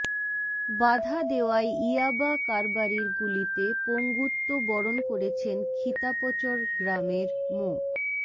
বাধা দেওয়ায় ইয়াবা কারবারির গুলিতে পঙ্গুত্ব বরণ করেছেন খিতাপচর গ্রামের মো